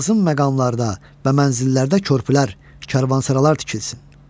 Lazım məqamlarda və mənzillərdə körpülər, karvansaralar tikilsin.